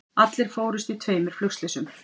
Allir fórust í tveimur flugslysum